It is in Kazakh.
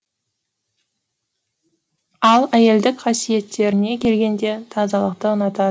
ал әйелдік қасиеттеріне келгенде тазалықты ұнатады